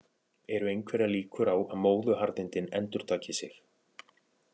Eru einhverjar líkur á að móðuharðindin endurtaki sig?